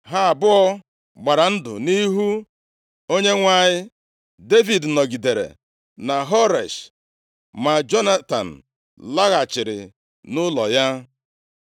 Ha abụọ gbara ndụ nʼihu Onyenwe anyị. Devid nọgidere na Horesh, ma Jonatan laghachiri nʼụlọ ya.